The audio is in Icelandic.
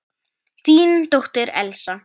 Þín dóttir, Elsa.